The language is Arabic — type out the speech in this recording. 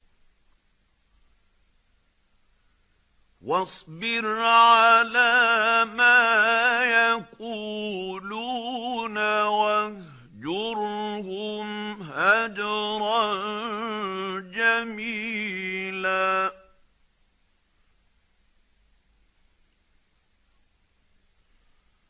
وَاصْبِرْ عَلَىٰ مَا يَقُولُونَ وَاهْجُرْهُمْ هَجْرًا جَمِيلًا